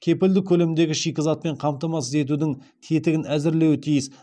кепілді көлемдегі шикізатпен қамтамасыз етудің тетігін әзірлеуі тиіс